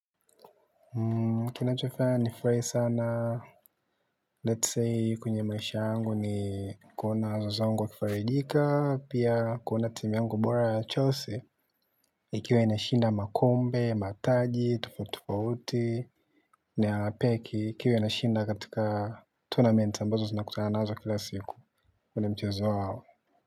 Kinachofanya nifurahi sana lets say kwenye maisha yangu ni kuona wazazi wangu wa kifarijika, pia kuona timu yangu bora ya Chelsea Ikiwe na shinda makombe, mataji, tofauti tofauti na peki, iki ikiwa ina shinda katika Tournament ambazo zinakutana nazo kila siku. Ule mchezo wao.